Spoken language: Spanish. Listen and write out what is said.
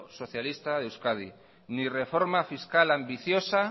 socialista de euskadi ni reforma fiscal ambiciosa